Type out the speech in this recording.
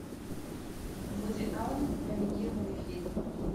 вуди аллен номинированный фильм